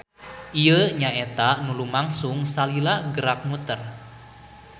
Ieu nyaeta nu lumangsung salila gerak muter.